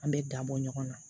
An bɛ dabɔ ɲɔgɔn na